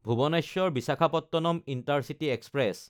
ভুৱনেশ্বৰ–বিশাখাপট্টনম intercity express